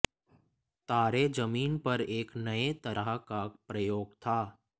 तारे जमीन पर एक नए तरह का प्रयोग था